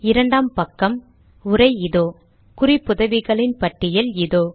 இரண்டாம் பக்கம் உரை இதோ குறிப்புதவிகளின் பட்டியல் இதோ